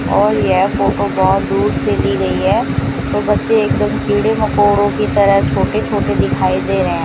और ये फोटो बहुत दूर से ली गई है तो बच्चे एकदम कीड़े मकोड़ों की तरह छोटे छोटे दिखाई दे रहे हैं।